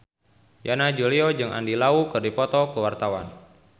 Yana Julio jeung Andy Lau keur dipoto ku wartawan